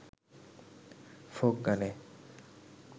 folk গানে